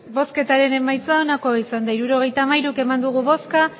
hirurogeita hamairu eman dugu bozka